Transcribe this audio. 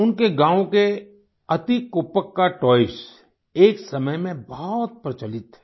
उनके गांव के एतिकोप्पका टॉयज़ एक समय में बहुत प्रचलित थे